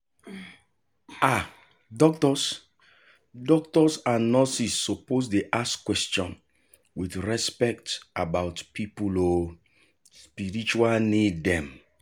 ah doctors doctors and nurse suppose dey ask quetion with respect about people um spiritual need dem.